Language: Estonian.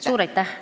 Suur aitäh!